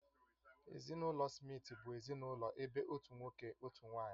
Ezinụlọ Smith bụ ezinụlọ ebe otu nwoke, otu nwanyị